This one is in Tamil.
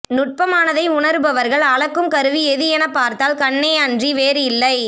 நுட்பமானதை உணர்பவர்கள் அளக்கும் கருவி எது என பார்த்தால் கண்ணே அன்றி வேறு இல்லை